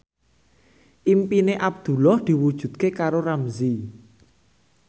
impine Abdullah diwujudke karo Ramzy